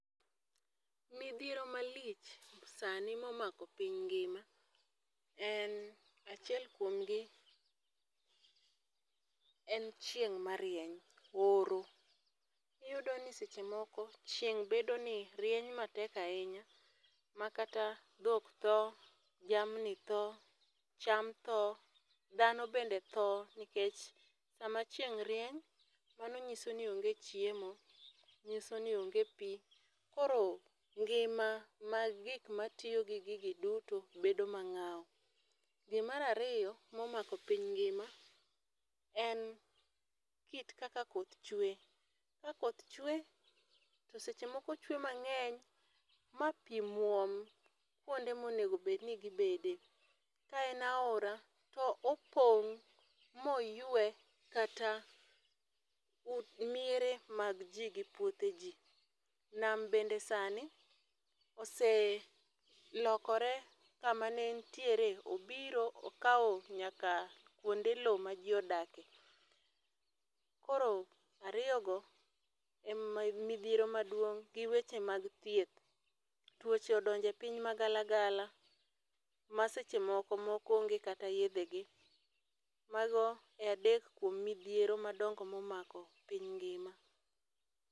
Midhiero malich sani ma omako piny ngima, en achiel kuomgi en chieng' marieny, oro. Iyudo ni seche moko, chieng' bedo ni rieny matek ahinya, makata dhok tho, jamni tho, cham tho, dhano bende tho. Nikech sama chieng' rieny, mano nyiso ni onge chiemo, nyiso ni onge pi. Koro ngima mar gik ma tiyo gi gigi duto, bedo mangáu. Mar ariyo, ma omako piny ngíma, en kit kaka koth chwe, ka koth chwe to seche moko ochwe mangény, ma pi mwom kuonde ma onego bed ni gi bede. Ka en aora to opong, ma oywe kata miere mag ji gi puothe ji. Nam bende sani oselokore kama ne entiere, obiro okawo nyaka kuonde lowo ma ji odake. Koro ariyogo ema midhiero maduong', gi weche mag thieth. Tuoche odonje piny magala gala, ma seche moko, moko onge kata yiedhegi. Mago e adek kuom midhiero madongo ma omako piny ngima.